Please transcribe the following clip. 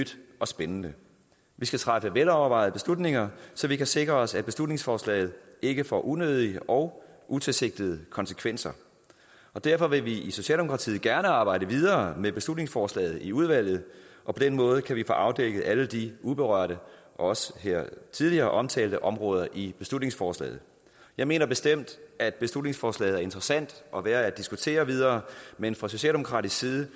og spændende vi skal træffe velovervejede beslutninger så vi sikrer os at beslutningsforslaget ikke får unødige og utilsigtede konsekvenser derfor vil vi i socialdemokratiet gerne arbejde videre med beslutningsforslaget i udvalget og på den måde kan vi få afdækket alle de uberørte og også her tidligere omtalte områder i beslutningsforslaget jeg mener bestemt at beslutningsforslaget er interessant og værd at diskutere videre men fra socialdemokratiets